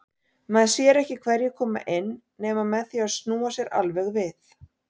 Maður sér ekki hverjir koma inn nema með því að snúa sér alveg við.